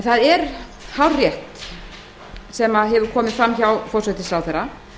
það er hárrétt sem hefur komið fram hjá forsætisráðherra